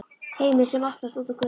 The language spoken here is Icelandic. HEIMUR SEM OPNAST ÚT Á GÖTU